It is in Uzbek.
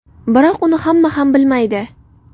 Biroq uni hamma ham bilmaydi.